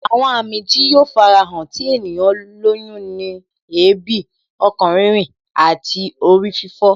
Àwọn àmì tí yóò fara hàn tí ènìyàn lóyún ni èébì, ọkàn rírìn àti orí fífọ